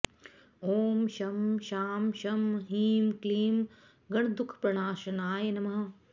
ॐ शं शां षं ह्रीं क्लीं गणदुःखप्रणाशनाय नमः